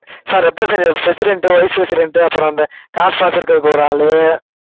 ஆஹ் representative, president, vice president அப்புறம் அந்த காசுலாம் வெச்சுக்கறதுக்கு ஒரு ஆளு